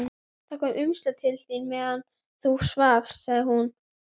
Það kom umslag til þín meðan þú svafst, sagði hún.